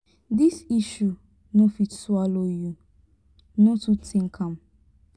this issue no fit swallow you no too think am.